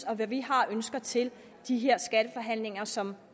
og hvad vi har af ønsker til de her skatteforhandlinger som